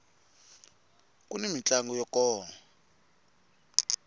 kuni mintlango ya kona